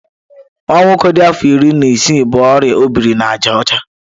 Nwa nwoke dị afọ iri na isii bu oria ọ biri na àjà ọcha.